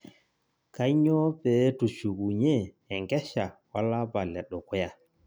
Kanyoo peetushukunyie enkesha olapa ledukuya